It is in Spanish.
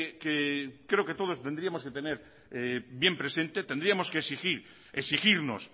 que creo que todos tendríamos que tener bien presente tendríamos que exigir exigirnos